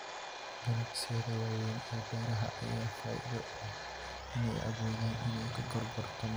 Ganacsiyada waaweyn ee beeraha ayaa faa'iido u leh inay awoodaan inay ka gorgortamaan qiimaha wanaagsan ee qaybinta badan.